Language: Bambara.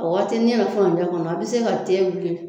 A waatini yɛrɛ furantɛ kɔnɔ a bi se ka te wuli